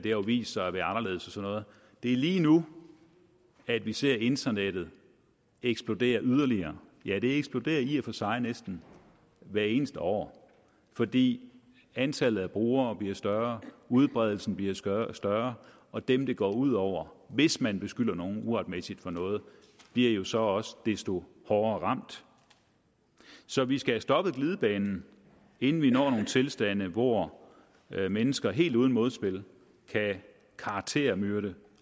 jo vist sig at være anderledes det er lige nu at vi ser internettet eksplodere yderligere ja det eksploderer i og for sig næsten hvert eneste år fordi antallet af brugere bliver større udbredelsen bliver større større og dem der går ud over hvis man beskylder nogen uretmæssigt for noget bliver jo så også desto hårdere ramt så vi skal stoppe glidebanen inden vi når nogle tilstande hvor mennesker helt uden modspil kan karaktermyrde